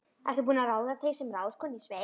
Ertu búin að ráða þig sem ráðskonu í sveit?